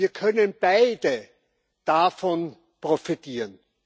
Wir können beide davon profitieren.